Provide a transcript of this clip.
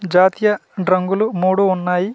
జాతీయ రంగులు మూడు ఉన్నాయి .]